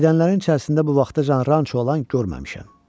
Gedənlərin içərisində bu vaxta qədər ranço olan görməmişəm.